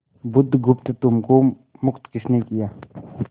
बुधगुप्त तुमको मुक्त किसने किया